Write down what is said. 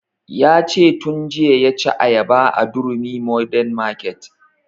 Ya ce tun jiya ya ci ayaba a durumi modern market